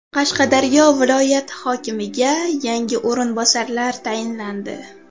Qashqadaryo viloyati hokimiga yangi o‘rinbosarlar tayinlandi.